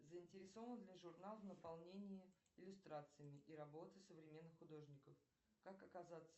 заинтересован ли журнал в наполнении иллюстрациями и работы современных художников как оказаться